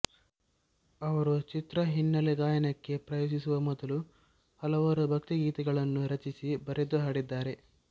ಅವರು ಚಿತ್ರ ಹಿನ್ನೆಲೆ ಗಾಯನಕ್ಕೆ ಪ್ರವೇಶಿಸುವ ಮೊದಲು ಹಲವಾರು ಭಕ್ತಿ ಗೀತೆಗಳನ್ನು ರಚಿಸಿ ಬರೆದು ಹಾಡಿದ್ದಾರೆ